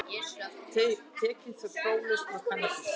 Tekinn próflaus með kannabis